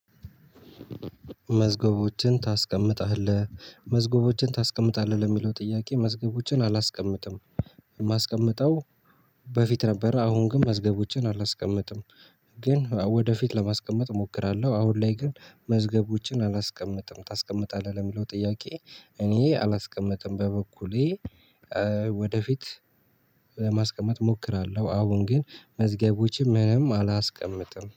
መዝገቦችን ታስቀምጣለህ መዝገቦችን ታስቀምጣለህ ለሚለው ጥያቄ መዝገቦችን አላስቀምጥም። የማስቀምጠው በፊት ነበረ። አሁን ግን መዝገቦችን አላስቀምጥም። ግን ወደፊት ለማስቀመጥ እሞክራለሁ። አሁን ላይ ግን መዝገቦችን አላስቀምጥም። ታስቀምጣለህ ለሚለው ጥያቄ? እኔ አላስቀምጠም። በበኩሌ ወደፊት ለማስቀመጥ እሞክራለሁ። አሁን ግን መዝገቦችን ምንም አላስቀምጥም